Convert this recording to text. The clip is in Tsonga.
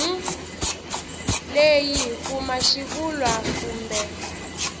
leyi hi kuma xivulwa kumbe